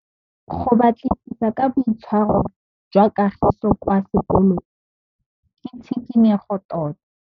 Go batlisisa ka boitshwaro jwa Kagiso kwa sekolong ke tshikinyêgô tota.